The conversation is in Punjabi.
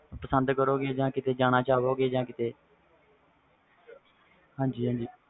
ਪਸੰਦ ਕਰੋ ਗੇ ਜਾ ਕੀਤੇ ਜਾਣਾ ਚਾਹੁੰਗੇ ਹਾਜੀ ਹਾਜੀ